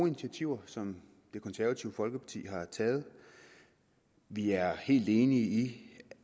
initiativer som det konservative folkeparti har taget og vi er helt enige i